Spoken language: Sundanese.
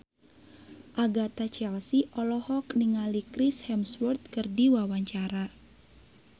Agatha Chelsea olohok ningali Chris Hemsworth keur diwawancara